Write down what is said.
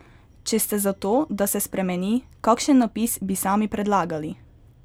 Če ste za to, da se spremeni, kakšen napis bi sami predlagali?